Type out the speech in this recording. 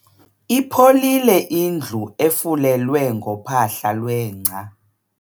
Ipholile indlu efulelwe ngophahla lwengca.